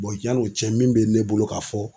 yan'o cɛ min bɛ ne bolo ka fɔ.